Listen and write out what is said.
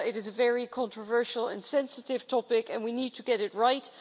It is a very controversial and sensitive topic and we need to get it right.